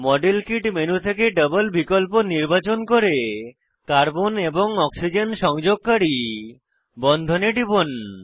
model kit menu থেকে double বিকল্প নির্বাচন করে কার্বন এবং অক্সিজেন সংযোগকারী বন্ধনে টিপুন